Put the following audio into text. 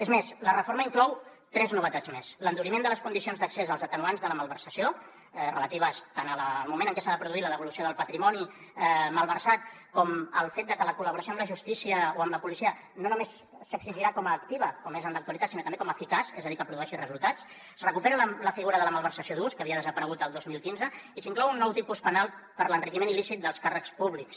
és més la reforma inclou tres novetats més l’enduriment de les condicions d’accés als atenuants de la malversació relatives tant al moment en què s’ha de produir la devolució del patrimoni malversat com al fet de que la col·laboració amb la justícia o amb la policia no només s’exigirà com a activa com és en l’actualitat sinó també com a eficaç és a dir que produeixi resultats es recupera la figura de la malversació d’ús que havia desaparegut el dos mil quinze i s’inclou un nou tipus penal per l’enriquiment il·lícit dels càrrecs públics